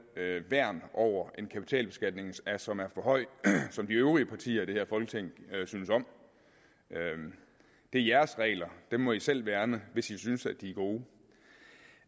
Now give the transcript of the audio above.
værn over en kapitalbeskatning som er for høj og som de øvrige partier i det her folketing synes om det er jeres regler dem må i selv værne hvis i synes at de